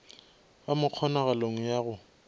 ba mo kgonagalong ya go